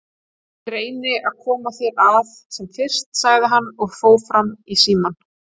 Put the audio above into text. Ég reyni að koma þér að sem fyrst, sagði hann og fór fram í símann.